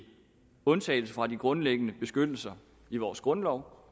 undtagelse fra den grundlæggende beskyttelse i vores grundlov